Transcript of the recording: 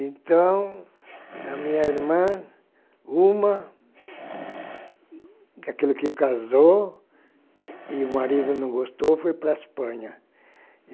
Então, a minha irmã, uma, daquilo que casou e o marido não gostou, foi para a Espanha.